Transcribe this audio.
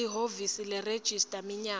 lihhovisi leregistrar minyaka